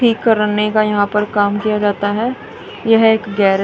ठीक करने का यहां पर काम किया जाता है यह एक गैरेज --